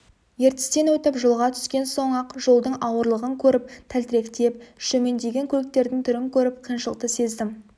ертістен өтіп жолға түскен соң-ақ жолдың ауырлығын көріп тәлтіректеп шөмендеген көліктердің түрін көріп қиыншылықты сездім